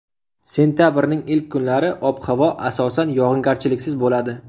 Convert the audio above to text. Sentabrning ilk kunlari ob-havo asosan yog‘ingarchiliksiz bo‘ladi.